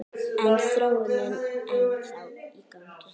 Er þróunin ennþá í gangi?